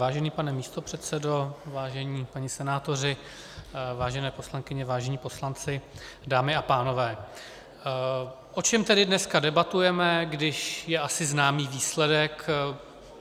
Vážený pane místopředsedo, vážení páni senátoři, vážené poslankyně, vážení poslanci, dámy a pánové, o čem tedy dneska debatujeme, když je asi znám výsledek?